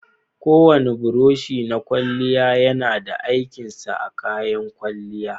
Kowane buroshi na kwalya yana da aikin sa a kayan kwalya.